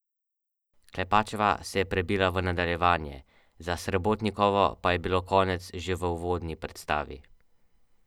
Kar pa nikakor ne preseneča, kajti prvi obrok dneva običajno opušča celo petdeset odstotkov odraslih!